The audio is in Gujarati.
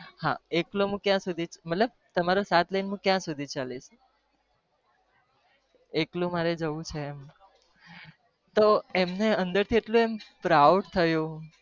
હા એકલો હું ક્યાં સુધી ચાલીસ એકલું મારે જવું છે એમણે proud